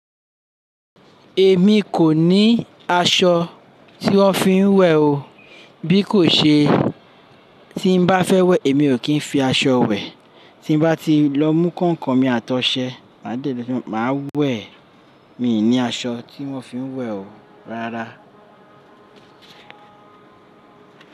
Èmi kò ní aṣọ tí wón fi ń wẹ̀ o. Bí kò ṣe tí n bá fẹ́ wẹ̀ èmi ò kí ń fi aṣọ wẹ̀. Tí n bá ti lọ mú ǹkan kan mi àtọ̀ṣẹ máa dẹ̀dí ẹ nípa máa wẹ̀. Mi ò ní aṣọ tí wón fi ń wẹ̀ o rárá.